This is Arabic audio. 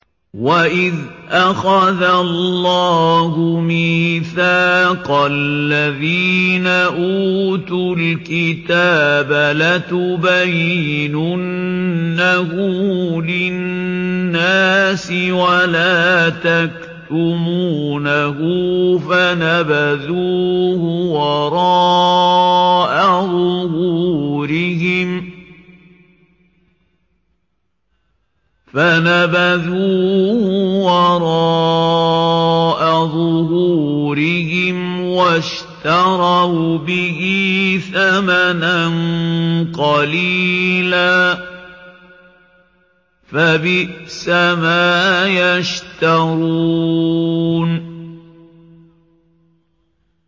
وَإِذْ أَخَذَ اللَّهُ مِيثَاقَ الَّذِينَ أُوتُوا الْكِتَابَ لَتُبَيِّنُنَّهُ لِلنَّاسِ وَلَا تَكْتُمُونَهُ فَنَبَذُوهُ وَرَاءَ ظُهُورِهِمْ وَاشْتَرَوْا بِهِ ثَمَنًا قَلِيلًا ۖ فَبِئْسَ مَا يَشْتَرُونَ